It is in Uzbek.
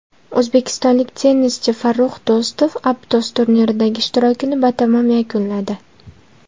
O‘zbekistonlik tennischi Farrux Do‘stov Aptos turniridagi ishtirokini batamom yakunladi.